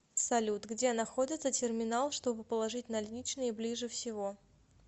салют где находится терминал чтобы положить наличные ближе всего